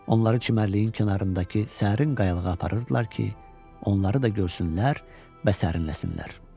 Onları çimərliyin kənarındakı sərin qayalığa aparırdılar ki, onları da görsünlər və sərinləsinlər.